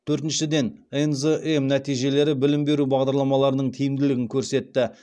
төртіншіден нзм нәтижелері білім беру бағдарламаларының тиімділігін көрсетті